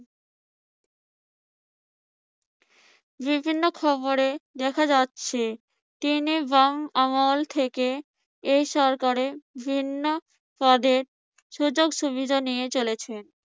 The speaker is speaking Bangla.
বিভিন্ন খবরে দেখা যাচ্ছে, তিনি বাঙ্ আমল থেকে এই সরকারের বিভিন্ন পদের সুযোগ সুবিধা নিয়ে চলেছে।